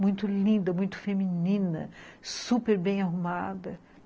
muito linda, muito feminina, super bem arrumada.